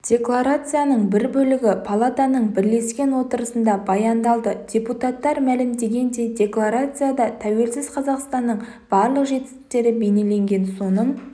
декларацияның бір бөлігі палатаның бірлескен отырысында баяндалды депутаттар мәлімдегендей декларацияда тәуелсіз қазақстанның барлық жетістіктері бейнеленген соның